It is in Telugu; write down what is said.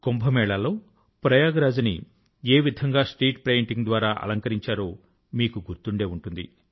కుంభమేళా లో ప్రయాగ్రాజ్ ని ఏ విధంగా స్ట్రీట్ పెయింటింగ్ ద్వారా అలంకరించారో మీకు గుర్తుండే ఉంటుంది